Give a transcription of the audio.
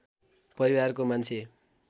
परिवारको मान्छे